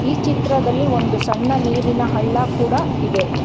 ಈ ಚಿತ್ರದಲ್ಲಿ ಒಂದು ಸಣ್ಣ ನೀರಿನ ಹಳ್ಳ ಕೂಡ ಇದೆ.